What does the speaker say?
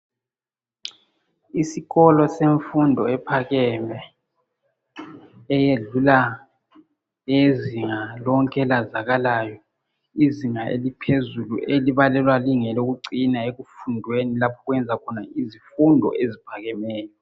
Isikolo semfundo ephakeme, eyedlula eyezinga lonke elazakalayo. Izinga eliphezulu, elibalelwa lingelokucina ekufundweni, lapha okwenziwa khona izifundo eziphakemeyo.